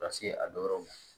Ka se a dɔ yɔrɔw ma